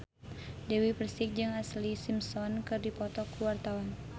Dewi Persik jeung Ashlee Simpson keur dipoto ku wartawan